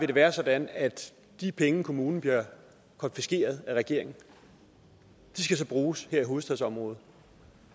det være sådan at de penge kommunen får konfiskeret af regeringen skal bruges her i hovedstadsområdet